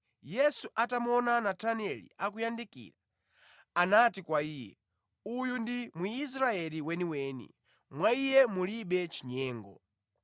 Yesu atamuona Natanieli akuyandikira, anati kwa iye, “Uyu ndi Mwisraeli weniweni, mwa iye mulibe chinyengo.”